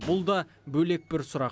бұл да бөлек бір сұрақ